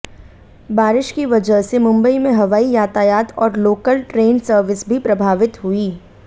बारिश की वजह से मुंबई में हवाई यातायात और लोकल ट्रेन सर्विस भी प्रभावित हुई